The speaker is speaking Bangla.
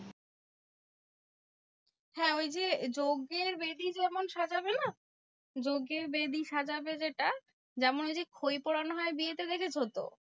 হ্যাঁ ওই যে যজ্ঞের বেদি যেমন সাজাবে না? যজ্ঞের বেদি সাজাবে যেটা যেমন ওই যে, খৈ পোড়ানো হয় বিয়েতে দেখেছো তো?